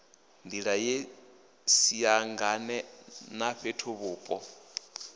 nḓila ye siangane na fhethuvhupo